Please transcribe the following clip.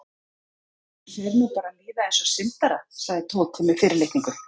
Manni fer nú bara að líða eins og syndara sagði Tóti með fyrirlitningu.